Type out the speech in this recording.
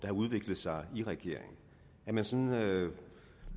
har udviklet sig i regeringen at man sådan